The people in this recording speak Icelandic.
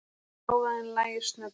Hávaðann lægir snögglega.